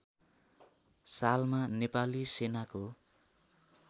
सालमा नेपाली सेनाको